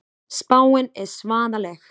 Spáin er svaðaleg.